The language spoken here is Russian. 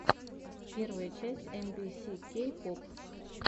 первая часть эм би си кей поп